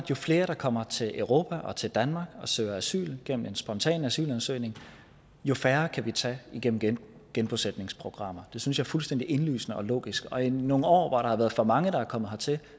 jo flere der kommer til europa og til danmark og søger asyl gennem en spontan asylansøgning jo færre kan vi tage igennem genbosætningsprogrammer det synes jeg er fuldstændig indlysende og logisk og i nogle år hvor der har været for mange der er kommet hertil